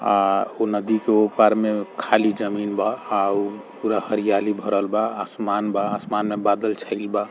आ उ नदी के ऊपर में खाली जमीन बा आ उ पूरा हरियाली भरल बा आसमान बा आसमान में बादल छइल बा।